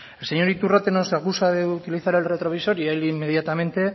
el señor iturrate nos acusa de utilizar el retrovisor y el inmediatamente